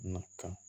Na ka